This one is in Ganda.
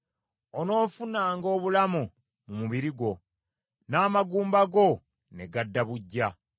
Onoofunanga obulamu mu mubiri gwo n’amagumba go ne gadda buggya.